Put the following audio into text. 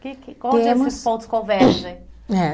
Que que... Temos. Onde esses pontos convergem? É